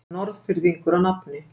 Norðfirðingur að nafni